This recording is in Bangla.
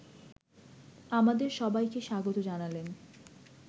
আমাদের সবাইকে স্বাগত জানালেন